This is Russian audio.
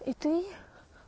и ты